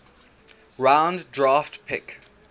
round draft pick